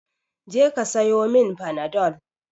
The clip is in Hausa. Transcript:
Je ka siyomin fanadol